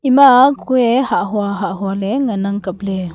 ama ah kuye hahua hahua ley ngan nang kap ley.